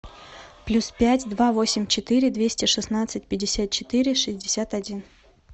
плюс пять два восемь четыре двести шестнадцать пятьдесят четыре шестьдесят один